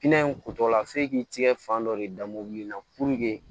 Kɛnɛ in kutɔla f'e k'i tigɛ fan dɔ de da mobili in na puruke